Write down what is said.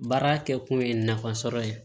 Baara kɛ kun ye nafa sɔrɔ ye